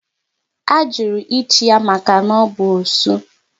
A jụrụ ịchi ya maka na ọ bụ osu